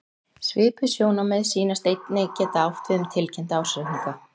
Svipuð sjónarmið sýnast einnig geta átt við um tilkynnta ársreikninga.